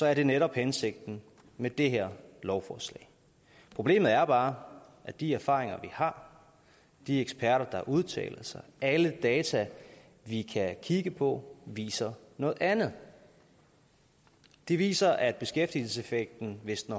er det netop hensigten med det her lovforslag problemet er bare at de erfaringer vi har de eksperter der udtaler sig og alle data vi kan kigge på viser noget andet de viser at beskæftigelseseffekten hvis den